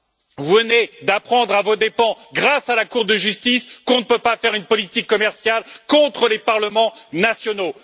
Vous venez d'apprendre à vos dépens, grâce à la Cour de justice, qu'on ne peut pas faire une politique commerciale contre les parlements nationaux.